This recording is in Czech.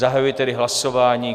Zahajuji tedy hlasování.